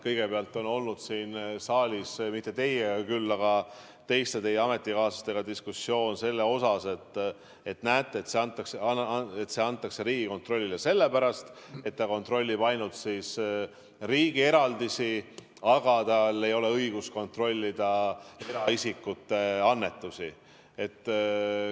Kõigepealt on olnud siin saalis, mitte teiega küll, küll aga teie ametikaaslastega diskussioon selle üle, et näete, see antakse Riigikontrollile sellepärast, et ta kontrollib ainult riigi eraldisi, aga tal ei ole õigust kontrollida eraisikute annetusi.